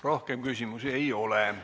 Rohkem küsimusi ei ole.